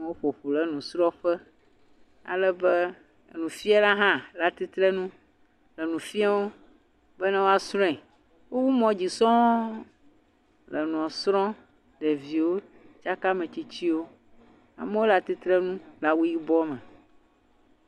Amewo ƒoƒu ɖe nusrɔ̃ƒe ale be nufiala hã le atsitrenu nu fiam bene woasrɔ̃e. wowu mod zi sɔ le nua srɔ̃. Ɖeviwo tsaka ame tsitsiwo. Amewo le atsitrenu le awu yibɔ me.